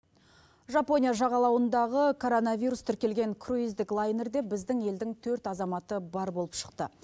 жапония жағалауындағы коронавирус тіркелген круйздік лайнерде біздің елдің төрт азаматы бар болып шықты